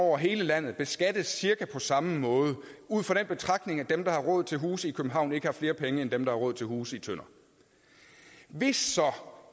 over hele landet beskattes cirka på samme måde ud fra den betragtning at dem der har råd til hus i københavn ikke har flere penge end dem der har råd til hus i tønder hvis